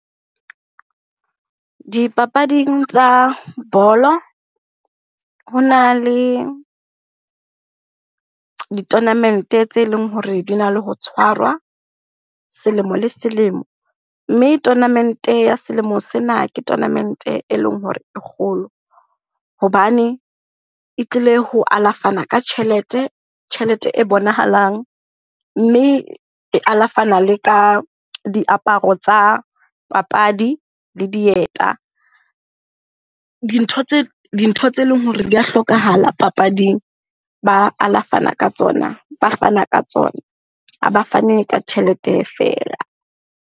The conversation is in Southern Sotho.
Dipapading tsa bolo ho na le di-tournament-e tse leng hore di na le ho tshwarwa selemo le selemo. Mme tournament-e ya selemo sena ke tournament-e e leng hore e kgolo hobane e tlile ho alafana ka tjhelete, tjhelete e bonahalang. Mme e alafana le ka diaparo tsa papadi le dieta. Dintho tse leng hore di a hlokahala papading ba alafana ka tsona, ba fana ka tsona ha ba fane ka tjhelete feela.